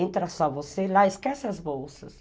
Entra só você lá, esquece as bolsas.